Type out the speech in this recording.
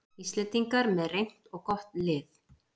Íslendingar með reynt og gott lið